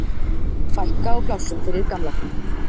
Fækka á plássum fyrir gamla fólkið